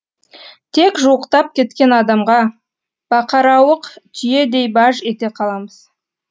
тек жуықтап кеткен адамға бақарауық түйедей баж ете каламыз